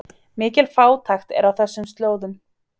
Mikil fátækt er á þessum slóðum